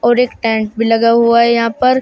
और एक टेंट भी लगा हुआ है यहां पर।